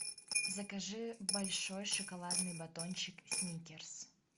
закажи большой шоколадный батончик сникерс